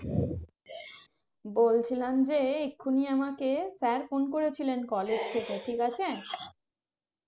বলছিলাম যে এখনি আমাকে sir phone করে ছিলেন college থেকে ঠিক আছে